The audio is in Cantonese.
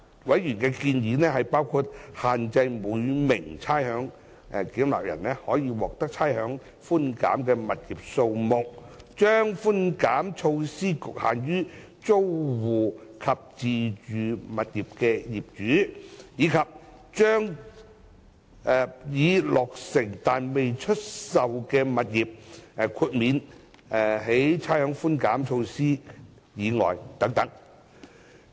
委員的建議包括限制每名差餉繳納人可獲差餉寬減的物業數目，將差餉寬減措施局限於租戶及自住物業的業主，以及將已落成但未出售的物業豁免於差餉寬減措施以外等。